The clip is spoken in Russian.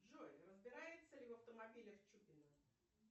джой разбирается ли в автомобилях чупина